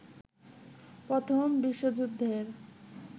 প্রথম বিশ্বযুদ্ধের